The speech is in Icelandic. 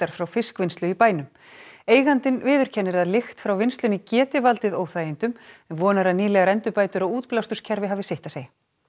frá fiskvinnslu í bænum eigandinn viðurkennir að lykt frá vinnslunni geti valdið óþægindum en vonar að nýlegar endurbætur á hafi sitt að segja